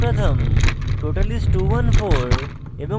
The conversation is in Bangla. name is: pratham total is: 214 এবং